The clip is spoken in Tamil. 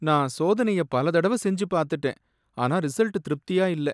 நான் சோதனையை பல தடவை செஞ்சு பார்த்துட்டேன், ஆனா ரிசல்ட் திருப்தியா இல்ல.